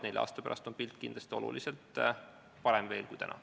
Nelja aasta pärast on pilt kindlasti oluliselt parem kui täna.